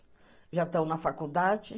Já estão na faculdade.